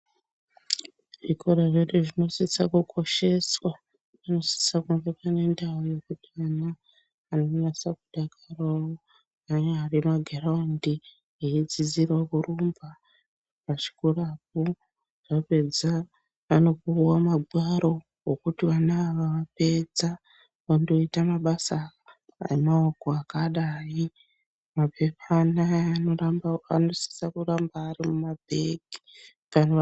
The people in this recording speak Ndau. Zvikora zvedu zvinosisa kukosheswa. Zvinosisa kunge zvine ndau yekuti ana anonyatsakudakarawo anyari magiraundi, veidzidzirawo kurumba pachikorapo. Vapedza vanopiwa magwaro okuti vana ava vapedza vandoita mabasa emaoko akadai. Mapepa anaya anosisa kuramba ari mumabhegi kana..